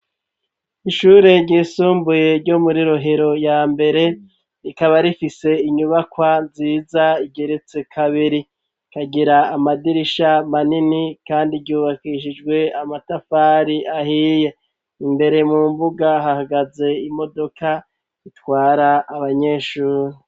Ishure ryisumbuye ryo muri Rohero ya mbere, rikaba rifise inyubakwa nziza igeretse kabiri, ikagira amadirisha manini kandi ryubakishijwe amatafari ahiye, imbere mu mbuga hahagaze imodoka itwara abanyeshuri.